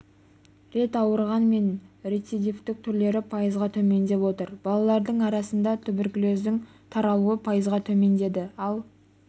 рет ауырған мен рецидивтік түрлері пайызға төмендеп отыр балалардың арасында туберкулездің таралуы пайызға төмендеді ал